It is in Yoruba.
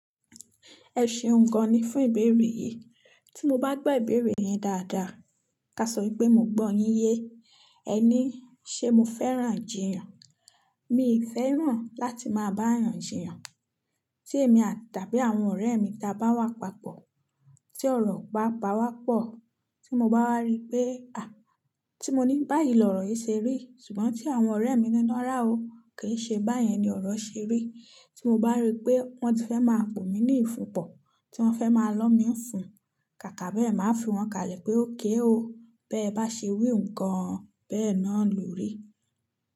Ẹ ṣeun gan ni fún ìbéèrè yìí. Tí mo bá gbọ́ ìbéèrè yín dáadáa, ká sọ pé mo gbọ́ yín yé. Ẹ ní, ṣe mo fẹ́ràn ijìyàn? Mi ò fẹ́ràn láti máa bá èèyàn jìyàn. Tí èmi àti àbí àwọn ọ̀rẹ́ mi ta bá wà papọ̀, tí ọ̀rọ̀ bá pa wá pọ̀, tí mo bá wa rí pé, tí mo ní báyìí lọ̀rọ̀ yìí ṣeri, ṣùgbọ́n tí àwọn ọ̀rẹ́ mi ní rara o kì í ṣe báyẹn ni ọ̀rọ̀ ṣe rí. Tí mo bá rí pé wọ́n ti fẹ́ máa pò mí ní ìfúnpọ̀, tí wọ́n fẹ́ máa lọ́ mi fún, kàkà bẹ́ẹ̀ máa fi wọ́n kalẹ̀ pé ókay o, bẹ́ẹ̀ bá ṣe weun gan, bẹ́ẹ̀ náà ló rí.